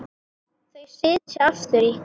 Þau sitja aftur í.